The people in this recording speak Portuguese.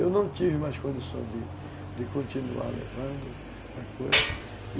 Eu não tive mais condições de de continuar levando a coisa.